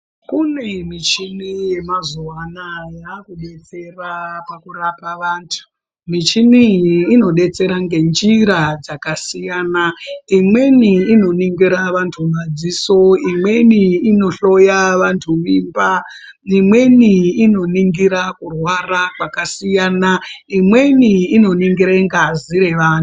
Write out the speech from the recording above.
Kune muchini yakudetsera pakurapa vantu. Michini iyi inodetsera ngenjira dzakasiyana. Imweni inoningira vantu madziso, imweni inohloya vantu mimba imweni inoningira kurwara kwakasiyana, imweni inoningira ngazi revantu.